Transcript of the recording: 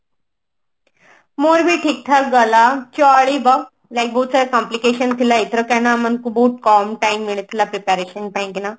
ମୋର ବି ଠିକ ଠାକ ଗଲା ଚଳିବ like ବହୁତ ସାରା complication ଥିଲା ଏଥର କାହିଁକି ନା ଆମ ମାନଙ୍କୁ ବହୁତ କମ time ମିଳିଥିଲା preparation ପାଇଁକି ନା